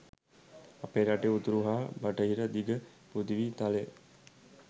අපේ රටේ උතුරු හා බටහිර දිග පෘථිවි තලය